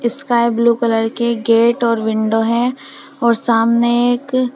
sky blue colour के gate और window हैं और सामने एक --